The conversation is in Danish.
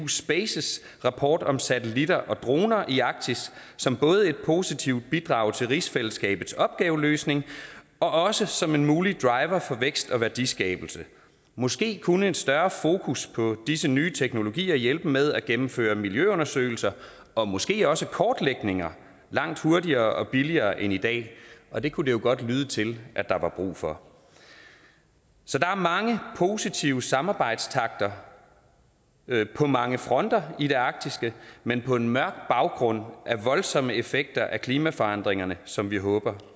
space rapport om satellitter og droner i arktis som både et positivt bidrag til rigsfællesskabets opgaveløsning og også som en mulig driver for vækst og værdiskabelse måske kunne en større fokus på disse nye teknologier hjælpe med at gennemføre miljøundersøgelser og måske også kortlægninger langt hurtigere og billigere end i dag og det kunne det jo godt lyde til at der var brug for så der er mange positive samarbejdstakter på mange fronter i det arktiske men på en mørk baggrund af voldsomme effekter af klimaforandringerne som vi håber